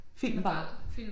Film bare?